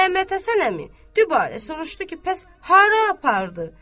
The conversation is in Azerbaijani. Məmmədhəsən əmi dübarə soruşdu ki, bəs hara apardı?